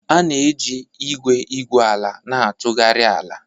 A na-eji igwe igwu ala na-atụgharị ala.